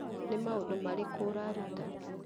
nĩ maũndũ marĩkũ ũraruta?